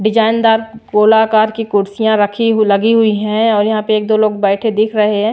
डिजाइनदार गोलाकार की कुर्सियां रखी लगी हुई है और यहां पे एक दो लोग बैठे दिख रहे हैं।